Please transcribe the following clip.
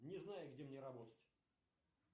не знаю где мне работать